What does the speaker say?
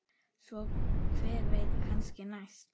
Svo hver veit, kannski næst?